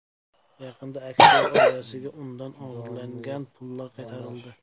Yaqinda aktyor oilasiga undan o‘g‘irlangan pullar qaytarildi.